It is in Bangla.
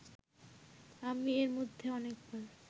আমি এরমধ্যে অনেকবার